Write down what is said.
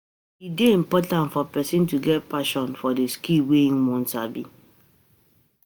E de important for persin to get passion for the skill wey won sabi